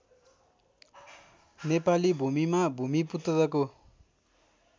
नेपाली भूमिमा भूमिपुत्रको